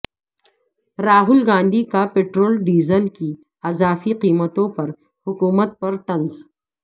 راہول گاندھی کا petrol diesel کی اضافی قیمتوں پر حکومت پر طنز